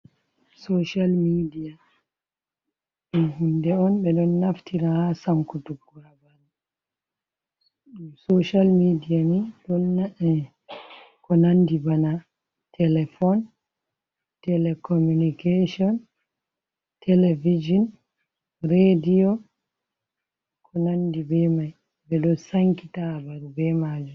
Sociyal midia dun hunde oun ɓe ɗon naftira ha sankutugo. sociyal midia ni ɗo na’e ko nandi bana telefon telecomunication televijin radio ko nandi be mai ɓe ɗo sankita habaru be majum.